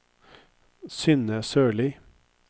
Synne Sørlie